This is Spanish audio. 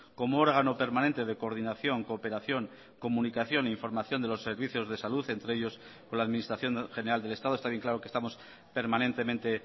como órgano permanente de coordinación cooperación comunicación información de los servicios de salud entre ellos con la administración general del estado está bien claro que estamos permanentemente